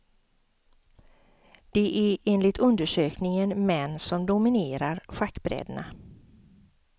Det är enligt undersökningen män som dominerar schackbrädena.